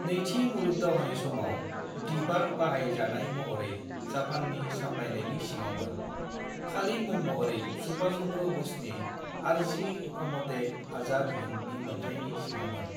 नैथि मुलुग दावहानि समाव, द्वीपआ बाहाय जानाय महरै जाफान्नि सामलायनायनि सिङावमोन, खालि मुं महरै सुभाष चंद्र बसनि आर्जी हुकुमते आजाद हिंदनि मोन्थायनि सिङावमोन।